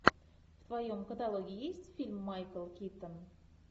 в твоем каталоге есть фильм майкл китон